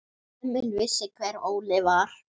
Emil vissi hver Óli var.